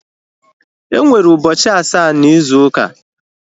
Enwere ụbọchị asaa na ịzu uka